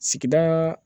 Sigida